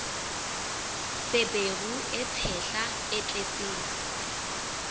feberu e tshehla e tletseng